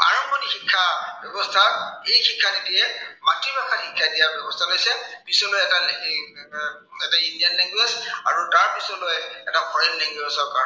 ব্য়ৱস্থা, এই শিক্ষানীতিয়ে মাতৃভাষাত শিক্ষা দিয়াৰ ব্য়ৱস্থা লৈছে। পিছলৈ এটি এৰ এটা indian language আৰু তাৰ পাছলৈ এটা foreign language ত